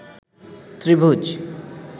ত্রিভুজ